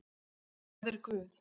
Hvað er guð?